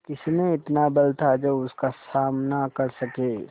किसमें इतना बल था जो उसका सामना कर सके